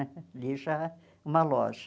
Ali já é uma loja.